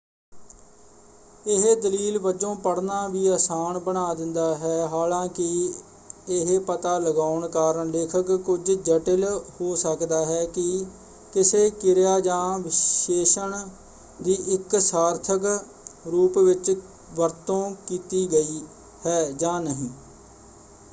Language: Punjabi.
ਇਹ ਦਲੀਲ ਵਜੋਂ ਪੜ੍ਹਨਾ ਵੀ ਆਸਾਨ ਬਣਾ ਦਿੰਦਾ ਹੈ ਹਾਲਾਂਕਿ ਇਹ ਪਤਾ ਲਗਾਉਣ ਕਾਰਨ ਲੇਖਣ ਕੁੱਝ ਜਟਿਲ ਹੋ ਸਕਦਾ ਹੈ ਕਿ ਕਿਸੇ ਕਿਰਿਆ ਜਾਂ ਵਿਸ਼ੇਸ਼ਣ ਦੀ ਇੱਕ ਸਾਰਥਕ ਰੂਪ ਵਿੱਚ ਵਰਤੋਂ ਕੀਤੀ ਗਈ ਹੈ ਜਾਂ ਨਹੀਂ।